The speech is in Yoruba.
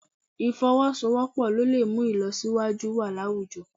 Ì̀fọwọ́sowọ́pọ̀ ló lè mú ìlọsíwájú wà láwùjọ